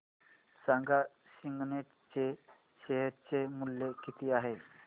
सांगा सिग्नेट चे शेअर चे मूल्य किती आहे